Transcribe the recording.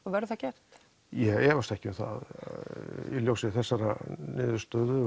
verður það gert ég efast ekki um það í ljósi þessarar niðurstöðu